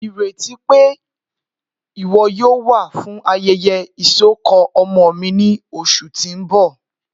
Ireti pe iwọ yoo wa fun ayẹyẹ isọkọ ọmọ mi ni oṣu ti n bọ.